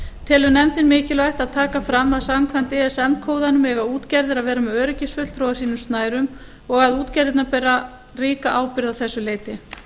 telur nefndin mikilvægt að taka fram að samkvæmt ism kóðanum eiga útgerðir að vera með öryggisfulltrúa á sínum snærum og að útgerðirnar bera ríka ábyrgð að þessu leyti